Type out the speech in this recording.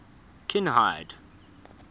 kinhide